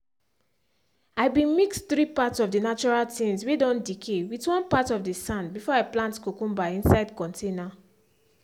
i been mix 3 parts of the natural things whey don decay with one part of the sand before i plant cucumber inside container.